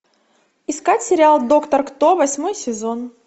искать сериал доктор кто восьмой сезон